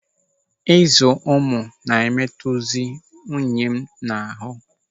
Ịzụ ụmụ na-emetụzi nwunye m n'ahụ.